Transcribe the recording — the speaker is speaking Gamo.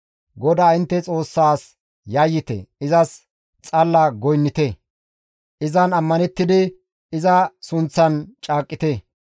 GODAA intte Xoossaas yayyite; izas xalla goynnite; izan ammanettidi iza sunththan caaqqite.